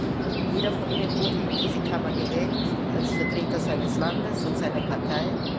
Gewiss Jeder von Ihnen wurde in diese Kammer gewählt als Vertreter seines Landes und seiner Partei.